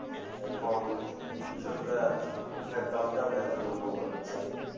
এখন কৃষকরা আখের দাম তা ন্যায্য মূল্য পাচ্ছে না